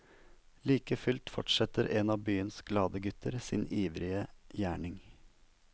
Like fullt fortsetter en av byens glade gutter sin ivrige gjerning.